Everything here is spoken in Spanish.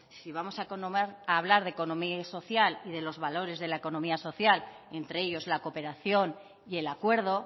si vamos a hablar de economía social y de los valores de la economía social y entre ellos la cooperación y el acuerdo